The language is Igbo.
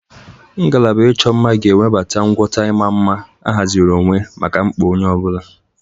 Ngalaba ịchọ mma ga-ewebata ngwọta ịma mma ahaziri onwe maka mkpa onye ọ bụla.